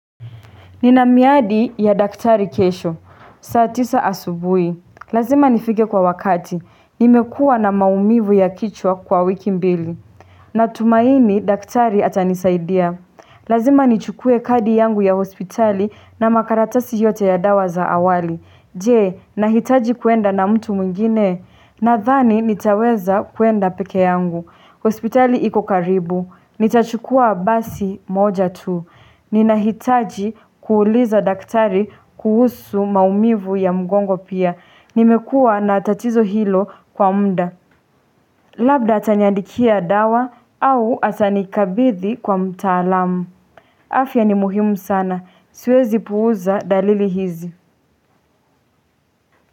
Nina miadi ya daktari kesho, saa tisa asubuhi, lazima nifike kwa wakati, nimekuwa na maumivu ya kichwa kwa wiki mbili na tumaini daktari atanisaidia, lazima nichukue kadi yangu ya hospitali na makaratasi yote ya dawa za awali Je, nahitaji kuenda na mtu mwingine, nadhani nitaweza kuenda peke yangu, hospitali iko karibu, nitachukua basi moja tu Ninahitaji kuuliza daktari kuhusu maumivu ya mgongo pia nimekua na tatizo hilo kwa muda Labda taniandikia dawa au atanikabithi kwa mtaalamu afya ni muhimu sana siwezi puuza dalili hizi.